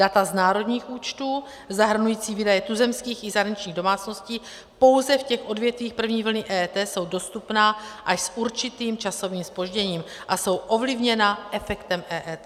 Data z národních účtů zahrnující výdaje tuzemských i zahraničních domácností pouze v těch odvětvích první vlny EET jsou dostupná až s určitým časovým zpožděním a jsou ovlivněna efektem EET.